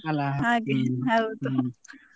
ಅಲ್ಲಾ .